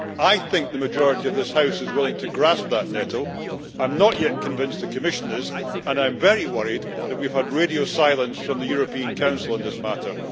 I think a majority in this House is willing to grasp that nettle. I am not yet convinced that the Commission is, and I am very worried that we have had radio silence from the European Council on this matter.